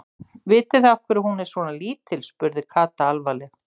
Vitið þið af hverju hún er svona lítil? spurði Kata alvarleg.